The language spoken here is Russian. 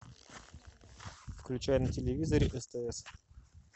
включай на телевизоре стс